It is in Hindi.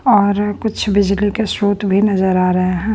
और कुछ बिजली के स्रोत भी नजर आ रहे है।